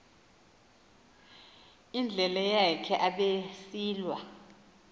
indlela yakhe abesilwa